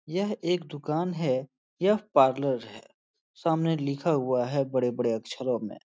यह एक दुकान है। यह पार्लर है। सामने लिखा हुआ है बड़े-बड़े अक्षरो में।